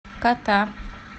кота